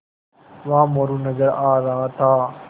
वहाँ मोरू नज़र आ रहा था